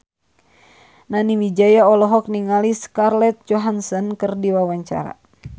Nani Wijaya olohok ningali Scarlett Johansson keur diwawancara